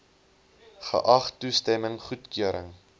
geag toestemming goedkeuring